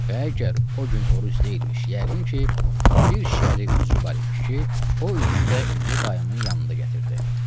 Və əgər o gün oruc deyilmiş, yəqin ki, bir şəri üzrü var imiş ki, o üzrü də indi dayımın yanında gətirdi.